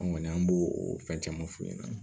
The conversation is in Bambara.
An kɔni an b'o o fɛn caman f'u ɲɛna